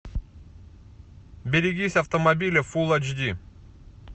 берегись автомобиля фулл эйч ди